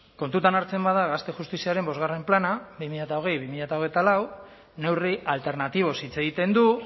kontutan hartzen bada gazte justiziaren bostgarren plana bi mila hogei bi mila hogeita lau neurri alternatiboz hitz egiten du